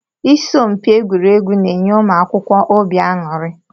Isọmpi egwuregwu na-enye ụmụ akwụkwọ óbị aṅụri